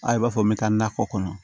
A i b'a fɔ min bɛ taa nakɔ kɔnɔ